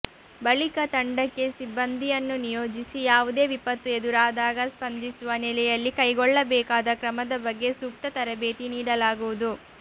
ಬಳಿಕ ತಂಡಕ್ಕೆ ಸಿಬಂದಿಯನ್ನು ನಿಯೋಜಿಸಿ ಯಾವುದೇ ವಿಪತ್ತು ಎದುರಾದಾಗ ಸ್ಪಂದಿಸುವ ನೆಲೆಯಲ್ಲಿ ಕೈಗೊಳ್ಳಬೇಕಾದ ಕ್ರಮದ ಬಗ್ಗೆ ಸೂಕ್ತ ತರಬೇತಿ ನೀಡಲಾಗುವುದು